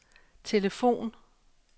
telefon